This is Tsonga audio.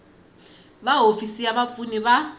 va hofisi ya vapfuni ya